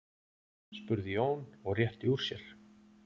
spurði Jón og rétti úr sér.